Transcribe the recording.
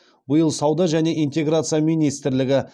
биыл сауда және интеграция министрлігі